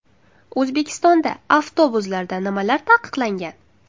O‘zbekistonda avtobuslarda nimalar taqiqlangan?.